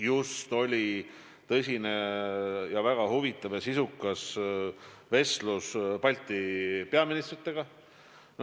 Just oli tõsine ja väga huvitav ja sisukas vestlus Balti riikide peaministritega.